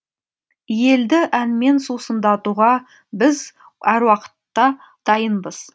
елді әнмен сусындатуға біз әр уақытта дайынбыз